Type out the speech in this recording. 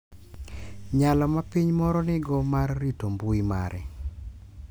Nyalo ma piny moro nigo mar rito mbui mare .